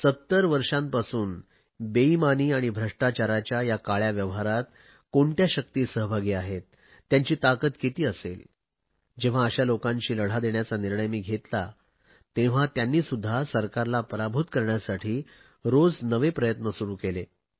70 वर्षांपासून बेईमानी आणि भ्रष्टाचाराच्या या काळया व्यवहारात कोणत्या शक्ती सहभागी आहे त्यांची ताकद किती असेल जेव्हा अशा लोकांशी लढा देण्याचा निर्णय मी घेतला तेव्हा त्यांनीसुध्दा सरकारला पराभूत करण्यासाठी रोज नवे प्रयत्न सुरु केले